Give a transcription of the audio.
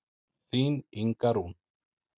Þín Inga Rún.